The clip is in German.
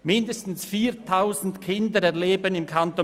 Mindestens 4000 Kinder im Kanton